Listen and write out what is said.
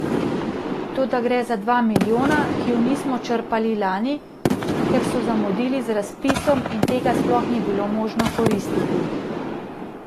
Toda gre za dva milijona, ki ju nismo črpali lani, ker so zamudili z razpisom in tega sploh ni bilo možno koristiti.